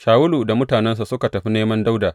Shawulu da mutanensa suka tafi neman Dawuda.